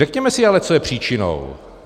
Řekněme si ale, co je příčinou.